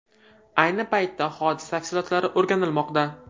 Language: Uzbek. Ayni paytda hodisa tafsilotlari o‘rganilmoqda.